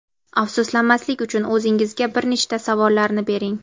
afsuslanmaslik uchun o‘zingizga bir nechta savollarni bering.